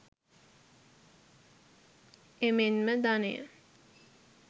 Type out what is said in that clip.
එමෙන්ම ධනය